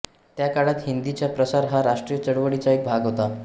त्या काळात हिंदीचा प्रसार हा राष्ट्रीय चळवळीचा एक भाग होता